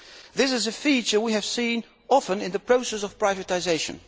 This is a feature we have often seen in the process of privatisation.